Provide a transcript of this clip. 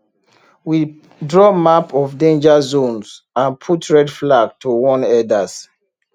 we draw map of danger zones and put red flag to warn herders